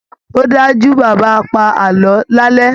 Ó dájú, Bàbá á pa àlọ́ lálẹ́